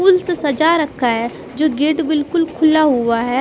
फूल से सजा रखा है जो गेट बिल्कुल खुला हुआ है।